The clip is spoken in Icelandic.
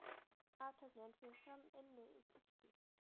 Athöfnin fer fram inni í kirkju.